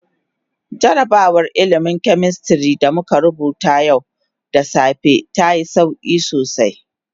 Jarrabawar ilmin "chemistry" da muka rubuta yau da safe ta yi sauki sosai.